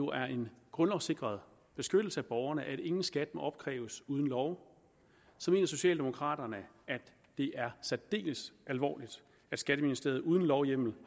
er en grundlovssikret beskyttelse af borgerne at ingen skat må opkræves uden lov mener socialdemokraterne at det er særdeles alvorligt at skatteministeriet uden lovhjemmel